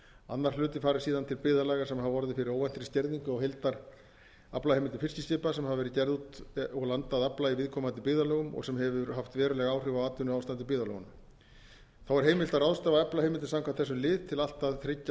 annar hluti fari síðan til byggðarlaga sem hafa orðið fyrir óvæntri skerðingu á heildaraflaheimildum fiskiskipa sem hafa verið gerð út og landað afla í viðkomandi byggðarlögum og sem hefur haft veruleg áhrif á atvinnuástand í byggðarlögunum heimilt er að ráðstafa aflaheimildum samkvæmt þessum lið til allt að þriggja